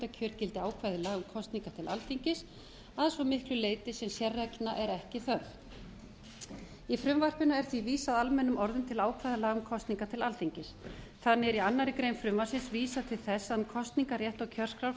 forsetakjör gildi ákvæði laga um kosningar til alþingis að svo miklu leyti sem sérreglna er ekki þörf í frumvarpinu er því vísað almennum orðum til ákvæða laga um kosningar til alþingis þannig er í annarri grein frumvarpsins vísað til þess að um kosningarrétt ég kjörskrá fari